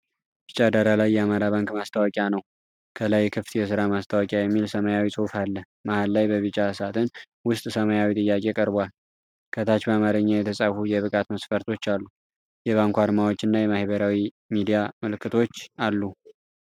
ቢጫ ዳራ ላይ የአማራ ባንክ ማስታወቂያ ነው። ከላይ "ክፍት የስራ ማስታወቂያ!" የሚል ሰማያዊ ጽሑፍ አለ። መሃል ላይ በቢጫ ሳጥን ውስጥ ሰማያዊ ጥያቄ ቀርቧል። ከታች በአማርኛ የተጻፉ የብቃት መስፈርቶች አሉ። የባንኩ አርማዎችና የማህበራዊ ሚዲያ ምልክቶች አሉ።